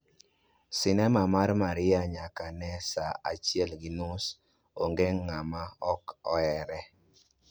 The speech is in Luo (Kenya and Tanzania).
Sinema mar Maria nyaka ne saa achiel gi nus, onge ng'ama ok ohere